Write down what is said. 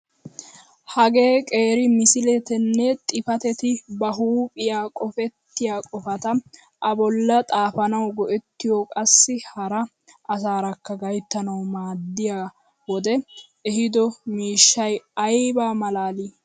Hagee qeeri misiletanne xifatetta ba huphphiyaa qofettiyaa qofata a bolli xaafanawu go"ettiyoo qassi hara asaarakka gayttanawu maaddiyaa wodee ehido miishshay ayba malaalii!